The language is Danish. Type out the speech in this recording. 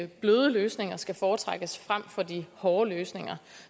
bløde løsninger skal foretrækkes frem for de hårde løsninger